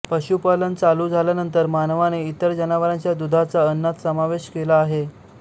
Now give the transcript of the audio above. पशुपालन चालू झाल्यानंतर मानवाने इतर जनावरांच्या दुधाचा अन्नात समावेश केला आहे